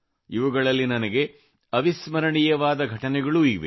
ಇವುಗಳಲ್ಲಿ ಅವಿಸ್ಮರಣೀಯವಾದ ಘಟನೆಗಳೂ ಇವೆ